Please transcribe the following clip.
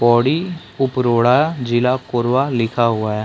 पोड़ी उपरोड़ा जिला कोरबा लिखा हुआ है।